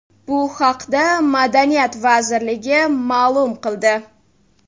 Bu haqda Madaniyat vazirligi ma’lum qildi .